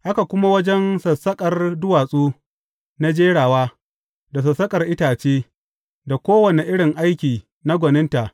Haka kuma wajen sassaƙar duwatsu na jerawa, da sassaƙar itace, da kowane irin aiki na gwaninta.